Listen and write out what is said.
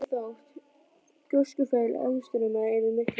Tjón varð lítið þótt gjóskufall og eðjustraumar yrðu miklir.